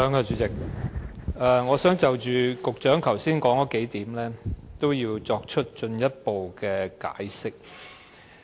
主席，我想就局長剛才提出的幾點作進一步解釋。